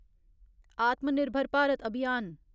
आत्मनिर्भर भारत अभियान